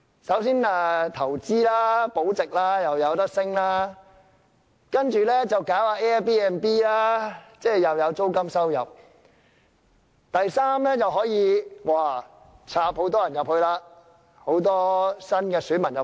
首先是投資保值，價值又可上升；第二是搞 Airbnb， 又有租金收入；第三是可以加插很多新選民進去。